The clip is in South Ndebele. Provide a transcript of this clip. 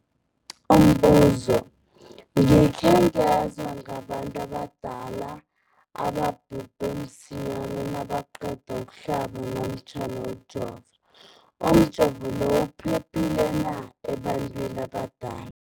Umbuzo, gikhe ngezwa ngabantu abadala ababhubhe msinyana nabaqeda ukuhlaba namkha ukujova. Umjovo lo uphephile na ebantwini aba